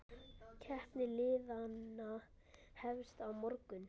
Keppni liðanna hefst á morgun.